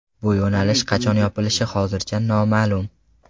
Bu yo‘nalish qachon yopilishi hozircha noma’lum.